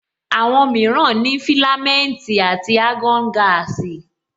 Àwọn mìíràn ní filamenti àti argon gaasi